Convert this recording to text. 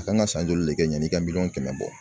A kan ka san joli de kɛ yanni i ka miliyɔn kɛmɛ bɔ